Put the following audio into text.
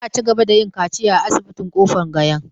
Za a cigaba da yin kaciya a asibitin Kofar Gayan.